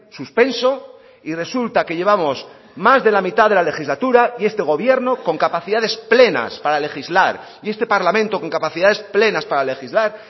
suspenso y resulta que llevamos más de la mitad de la legislatura y este gobierno con capacidades plenas para legislar y este parlamento con capacidades plenas para legislar